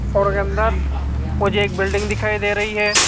Photo के अंदर मुझे एक बिल्डिंग दिखाई दे रही है।